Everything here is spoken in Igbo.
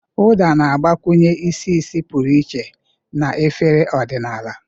Uda na-agbakwụnye isi ísì pụrụ iche na efere ọdịnala.